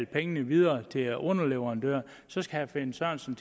pengene videre til underleverandørerne så herre finn sørensen